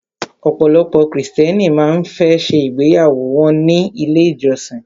Ọ̀pọ̀lọpọ̀ krìstẹ́nì má ń fẹ́ ṣe ìgbéyàwó wọ́n ní ilé ìjọsin.